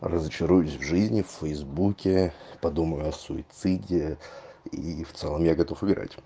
разочаруюсь в жизни в фейсбуке подумаю о суициде и в целом я готов умирать